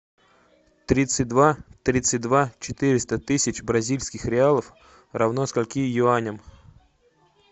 тридцать два тридцать два четыреста тысяч бразильских реалов равно скольки юаням